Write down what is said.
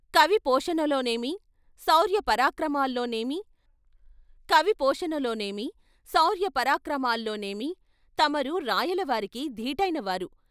కవి పోషణలో నేమి, శౌర్య పరాక్రమాల్లో నేమి, కవి పోషణలో నేమి, శౌర్య పరాక్రమాల్లో నేమి తమరు రాయల వారికి దీటైన వారు.